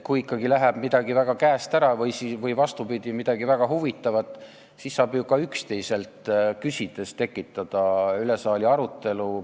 Kui ikkagi läheb midagi väga käest ära, või vastupidi, juhtub midagi väga huvitavat, siis saab ju ka üksteiselt küsides tekitada üle saali arutelu.